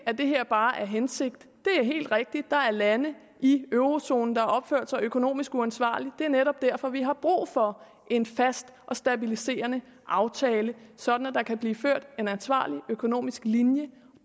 at det her bare er hensigt det er helt rigtigt at der er lande i eurozonen der har opført sig økonomisk uansvarligt og det er netop derfor vi har brug for en fast og stabiliserende aftale sådan at der kan blive en ansvarlig økonomisk linje